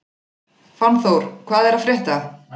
Fannþór, hvað er að frétta?